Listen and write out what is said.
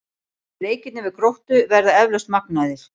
En leikirnir við Gróttu verða eflaust magnaðir.